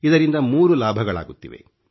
ಇದರಿಂದ 3 ಲಾಭಗಳಾಗುತ್ತಿವೆ